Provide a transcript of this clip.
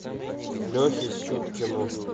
лехе сюткину